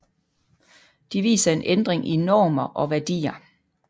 De viser en ændring i normer og værdier